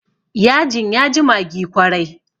yajin ya ji maggi kwarai